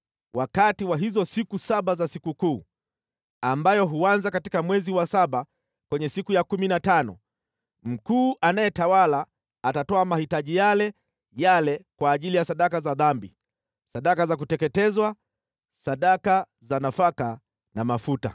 “ ‘Wakati wa hizo siku saba za sikukuu, ambayo huanza katika mwezi wa saba kwenye siku ya kumi na tano, mkuu anayetawala atatoa mahitaji yale yale kwa ajili ya sadaka za dhambi, sadaka za kuteketezwa, sadaka za nafaka na mafuta.